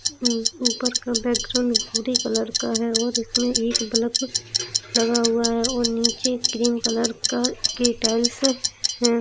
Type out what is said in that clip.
ऊ ऊपर का बैकग्राउन्ड भूरे कलर का है और इसमें एक बलफ लगा हुआ है और नीचे ग्रीन कलर का के टाइल्स हैं।